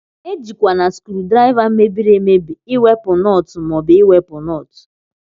Ejikwana skrudriva mebiri emebi iwepu nọt ma obu iwepu nọt.